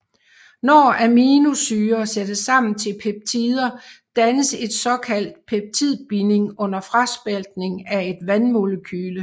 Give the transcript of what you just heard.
Når aminosyrer sættes sammen til peptider dannes en såkaldt peptidbinding under fraspaltning af et vandmolekyle